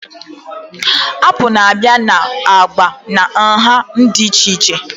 Apụl na-abịa na agba na nha dị iche iche